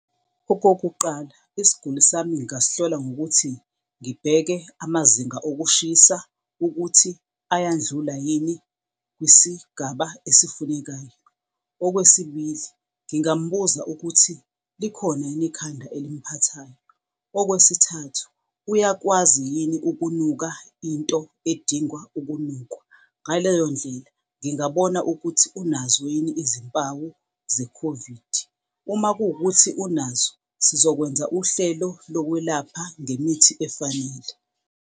Okokuqala, isiguli sami ngasithola ngokuthi ngibheke amazinga okushisa ukuthi ayandlula yini kwisigaba esifunekayo. Okwesibili, ngingambuza ukuthi likhona yini ikhanda elimphathayo. Okwesithathu, uyakwazi yini ukunuka into edingwa ukunukwa. Ngaleyo ndlela ngingabona ukuthi unazo yini izimpawu ze-COVID. Uma kuwukuthi unazo, sizokwenza uhlelo lokwelapha ngemithi efanele.